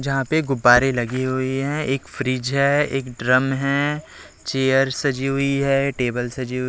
जहां पे गुब्बारे लगी हुई है एक फ्रिज है एक ड्रम है चेयर सजी हुई है टेबल सजी हु--